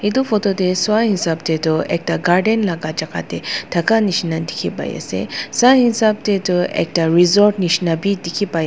etu photo dae suwa esab dae tho ekta garden laka jaka dae taka nishina tiki bai ase sa esab dae tu ekta resort nishina bi tiki bai.